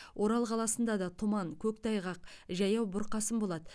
орал қаласында да тұман көктайғақ жаяу бұрқасын болады